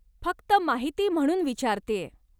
फक्त माहिती म्हणून विचारतेय.